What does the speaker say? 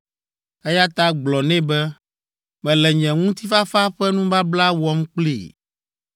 Eya ta gblɔ nɛ be, mele nye ŋutifafa ƒe nubabla wɔm kplii.